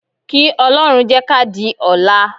Kí Ọlọ́run jẹ́ ká di ọ̀la